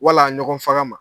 Wala ɲɔgɔn faga ma